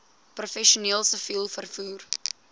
professioneel siviel vervoer